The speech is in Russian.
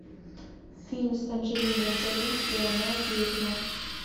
фильм с анджелиной джоли где она ведьма